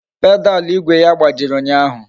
Pedalu igwe ya gbajiri ụnyaahụ